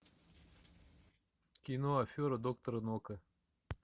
кино афера доктора нока